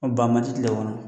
O ban man di tile kɔnɔ